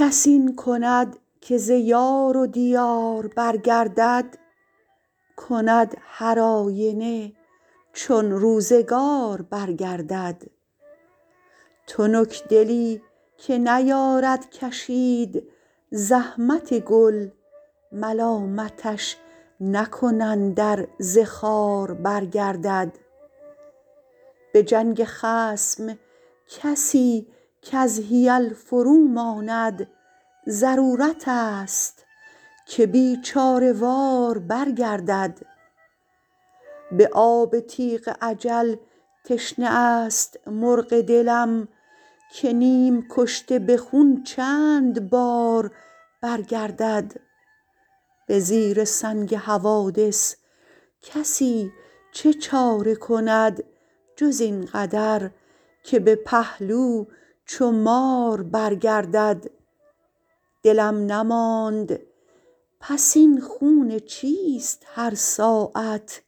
کس این کند که ز یار و دیار برگردد کند هرآینه چون روزگار برگردد تنکدلی که نیارد کشید زحمت گل ملامتش نکنند ار ز خار برگردد به جنگ خصم کسی کز حیل فروماند ضرورتست که بیچاره وار برگردد به آب تیغ اجل تشنه است مرغ دلم که نیم کشته به خون چند بار برگردد به زیر سنگ حوادث کسی چه چاره کند جز این قدر که به پهلو چو مار برگردد دلم نماند پس این خون چیست هر ساعت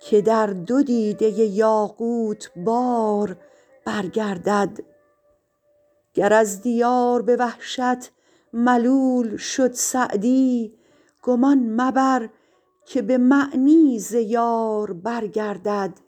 که در دو دیده یاقوت بار برگردد گر از دیار به وحشت ملول شد سعدی گمان مبر که به معنی ز یار برگردد